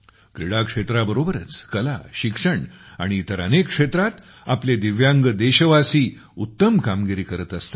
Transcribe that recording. क्रीडा क्षेत्राबरोबरच कला शिक्षण आणि इतर अनेक क्षेत्रांत आपले दिव्यांग देशवासीउत्तम कामगिरी करत असतात